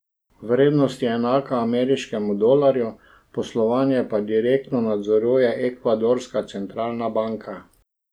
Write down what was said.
Vrednost je enaka ameriškemu dolarju, poslovanje pa direktno nadzoruje ekvadorska centralna banka.